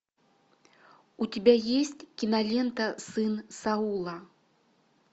у тебя есть кинолента сын саула